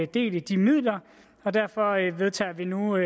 del i de midler og derfor vedtager vi nu